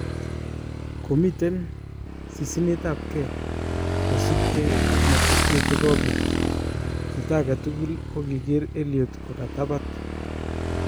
Komiten sisinetap nge kosipnge ak matukio chekopit, jito angetukul kokinger Elliott kokatapat.